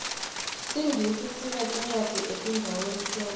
singisi sineticwadzi etindzaweni tonkhe